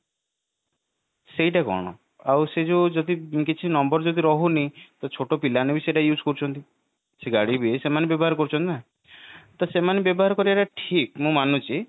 ସେଇଟା କଣ ଆଉ ସେଇ ଯୋଉ ଯଦି କିଛି number ଯଦି ରହୁନି ତ ଛୋଟ ପିଲା ମାନେ ବି ତାକୁ use କରୁଛନ୍ତି ସେ ଗାଡି ଯୋଉ ସେମାନେ ବ୍ୟବହାର କରୁଛନ୍ତି ନା ତ ସେମାନେ ବ୍ୟବହାର କରିବା ଟା ଠିକ ମୁଁ ମାନୁଛି